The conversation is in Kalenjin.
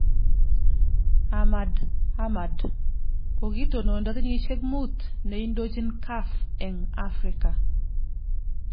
Ahmad Ahmad:Kokotonondo kenyisiek muut neindochin CAF eng Afrika